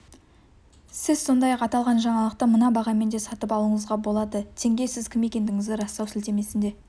сіз сондай-ақ аталған жаңалықты мына бағамен де сатып алуыңызға болады тенге сіз кім екендігіңізді растау сілтемесіне